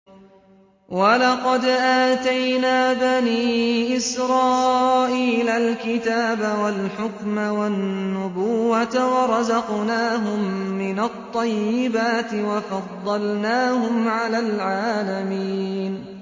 وَلَقَدْ آتَيْنَا بَنِي إِسْرَائِيلَ الْكِتَابَ وَالْحُكْمَ وَالنُّبُوَّةَ وَرَزَقْنَاهُم مِّنَ الطَّيِّبَاتِ وَفَضَّلْنَاهُمْ عَلَى الْعَالَمِينَ